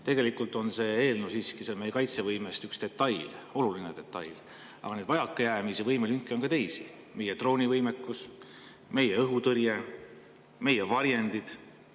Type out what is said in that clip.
Tegelikult on see eelnõu siiski meie kaitsevõime vaid üks detail, küll oluline detail, aga vajakajäämisi, võimelünki on ka teisi: meie droonivõimekus, meie õhutõrje, meie varjendid.